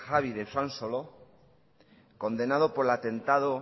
javi de usansolo condenado por el atentado